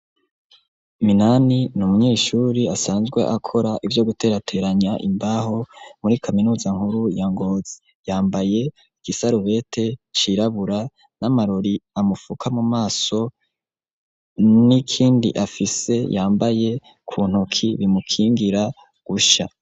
Minani n'umunyeshuri asanzwe akora ivyo guterateranya Imbaho muri kaminuza nkuru ya Ngozi, yambaye igisarubete cirabura n'amarori amufuka mu maso n'ikindi afise yambaye kuntoki kimukingira gusha.